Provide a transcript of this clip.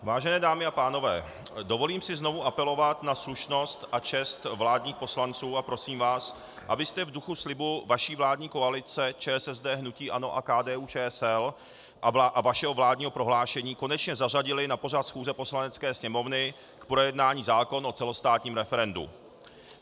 Vážené dámy a pánové, dovolím si znovu apelovat na slušnost a čest vládních poslanců a prosím vás, abyste v duchu slibu vaší vládní koalice ČSSD, hnutí ANO a KDU-ČSL a vašeho vládního prohlášení konečně zařadili na pořad schůze Poslanecké sněmovny k projednání zákon o celostátním referendu.